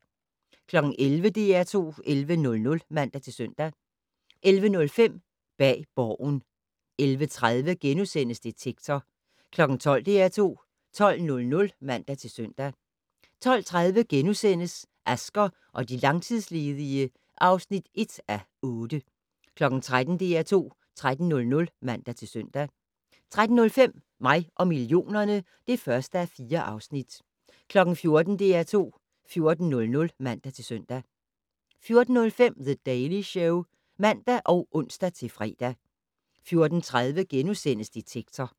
11:00: DR2 11:00 (man-søn) 11:05: Bag Borgen 11:30: Detektor * 12:00: DR2 12:00 (man-søn) 12:30: Asger og de langtidsledige (1:8)* 13:00: DR2 13:00 (man-søn) 13:05: Mig og millionerne (1:4) 14:00: DR2 14:00 (man-søn) 14:05: The Daily Show (man og ons-fre) 14:30: Detektor *